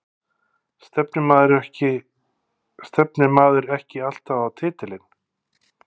Stefnir maður ekki alltaf á titilinn?